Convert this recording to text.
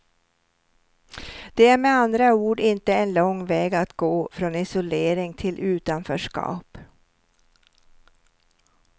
Det är med andra ord inte en lång väg att gå från isolering till utanförskap.